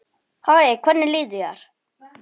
Hæ, hvernig líður þér?